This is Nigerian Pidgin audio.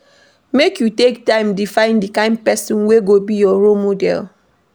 Make you take time define di kain pesin wey go be your role model.